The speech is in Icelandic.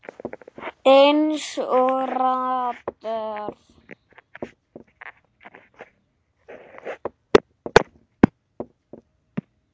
Eins og radar.